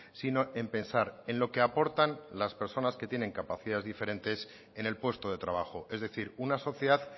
sino en pensar en lo que aportan las personas que tienen capacidades diferentes en el puesto de trabajo es decir una sociedad